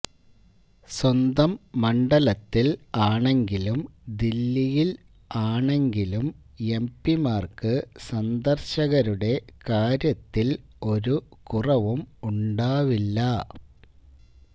സ്വന്തം മണ്ഡലത്തില് ആണെങ്കിലും ദില്ലിയില് ആണെങ്കിലും എംപിമാര്ക്ക് സന്ദര്ശകരുടെ കാര്യത്തില് ഒരു കുറവും ഉണ്ടാവില്ല